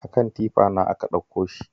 A kan tifa na ɗakko shi